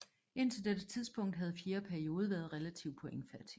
Indtil dette tidspunkt havde fjerde periode været relativ pointfattig